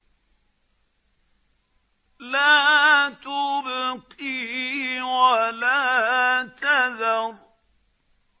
لَا تُبْقِي وَلَا تَذَرُ